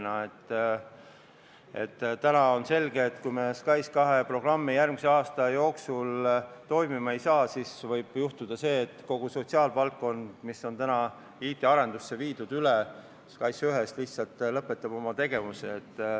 Praegu on selge, et kui me SKAIS2 programmi järgmise aasta jooksul toimima ei saa, siis võib juhtuda see, et kogu sotsiaalvaldkond, mis on IT-arendusse üle viidud SKAIS1-st, lihtsalt lõpetab oma tegevuse.